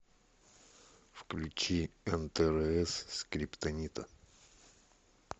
включи нтрс скриптонита